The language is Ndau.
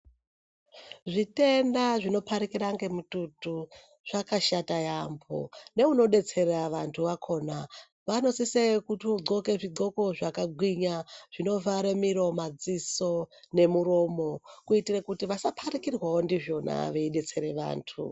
Zvitenda zvinoparikira ngemututu zvakashata yaamho neunodetsera vantu vakhona Vanosise kutodhloke zvidhloko zvakagwinya zvinovhare muromo madziso nemuromo kuitire kuti vasaparikirwa ndizvona veidetsere vantu.